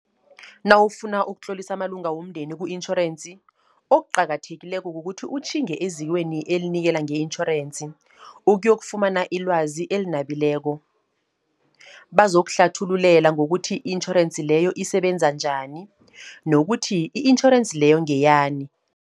Nawufuna ukutlolisa amalunga womndeni ku-intjhorensi, okuqakathekileko kukuthi utjhinge ezikweni elinikela nge-intjhorensi, ukuyokufumana ilwazi elinabileko. Bazokuhlathululela ngokuthi i-intjhorensi leyo isebenza njani, nokuthi i-intjhorensi leyo ngeyani.